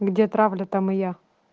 где правда там и я